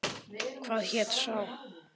Hvað hét sá?